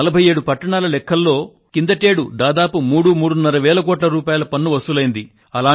47 పట్టణాల లెక్కల్లో కిందటి ఏడాది దాదాపు మూడు వేల కోట్ల రూపాయల నుండి మూడున్నర వేల కోట్ల రూపాయల పన్ను వసూలయింది